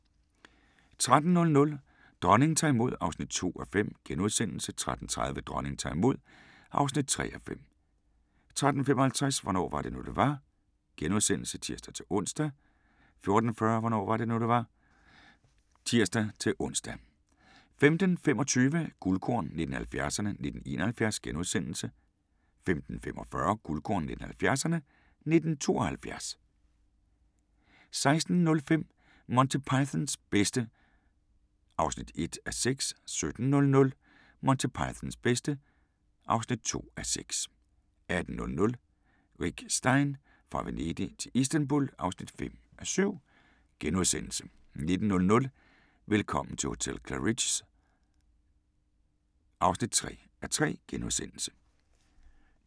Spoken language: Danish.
13:00: Dronningen tager imod (2:5)* 13:30: Dronningen tager imod (3:5) 13:55: Hvornår var det nu, det var? *(tir-ons) 14:40: Hvornår var det nu, det var? (tir-ons) 15:25: Guldkorn 1970'erne: 1971 * 15:45: Guldkorn 1970'erne: 1972 16:05: Monty Pythons bedste (1:6) 17:00: Monty Pythons bedste (2:6) 18:00: Rick Stein: Fra Venedig til Istanbul (5:7)* 19:00: Velkommen til hotel Claridge's (3:3)*